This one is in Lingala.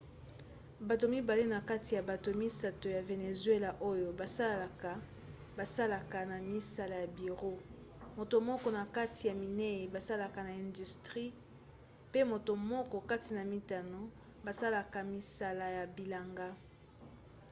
bato mibale na kati ya bato misato ya venezuela oyo basalaka basalaka na misala ya biro moto moko na kati ya minei basalaka na industrie pe moto moko kati na mitano basalaka misala ya bilanga